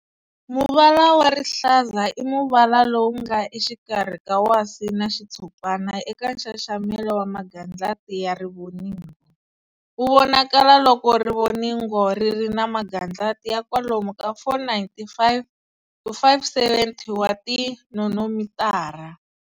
Muvala wa Rihlaza i muvala lowu nge exikarhi ka wasi na xitshopana eka nxaxamela wa magandlati ya rivoningo. Wu vonakalo loko rivoningo ri ri na magandlati ya kwalomu ka 495-570 wa ti nonomitara.